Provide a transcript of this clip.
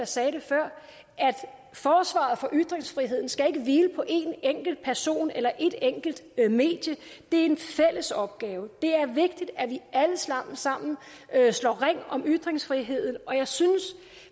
sagde det før at forsvaret for ytringsfriheden ikke skal hvile på en enkelt person eller et enkelt medie det er en fælles opgave det er vigtigt at vi alle sammen sammen slår ring om ytringsfriheden og jeg synes